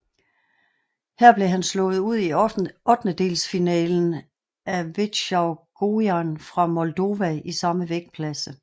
Her blev han slået ud i ottendelsfinalen af Veaceslav Gojan fra Moldova i samme vægtklasse